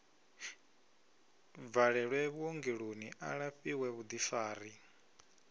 bvalelwe vhuongeloni a lafhiwe vhuḓifari